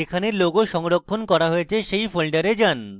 যেখানে logo সংরক্ষণ করা হয়েছে সেই folder যান